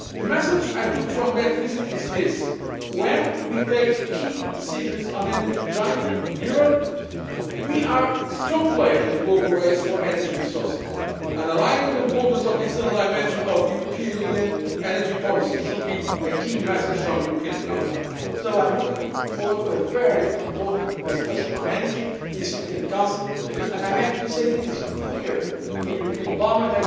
The message I took from that visit is this when we take key decisions on energy jointly in Europe, we are a strong player in the global race for energy resources. Underlining the importance of the external dimension of the European Union energy policy should be a key message from the European Council, so I am looking forward to a very important discussion on energy at this European Council and I am happy to say this here in the European Parliament.